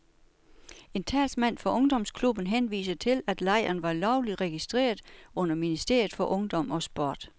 En talsmand for ungdomsklubben henviser til, at lejren var lovligt registreret under ministeriet for ungdom og sport.